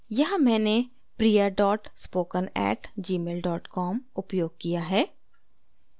यहाँ मैंने priya dot spoken at gmail dot com उपयोग किया है